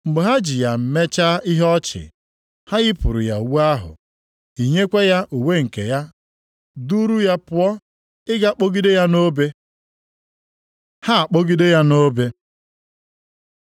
Mgbe ha ji ya mechaa ihe ọchị, ha yipụrụ ya uwe ahụ, yinyekwa ya uwe nke ya, duuru ya pụọ, ịga kpọgide ya nʼobe. Ha akpọgide ya nʼobe